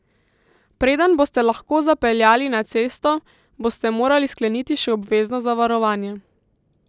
Preden boste lahko zapeljali na cesto, boste morali skleniti še obvezno zavarovanje.